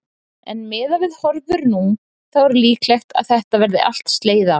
En miðað við horfur nú, þá er líklegt að þetta verði allt slegið af?